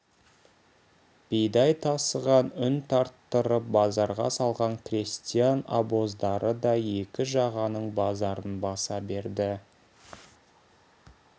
бидай тасыған үн тарттырып базарға салған крестьян обоздары да екі жағаның базарын баса берді